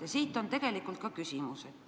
Ja siit ka minu küsimus.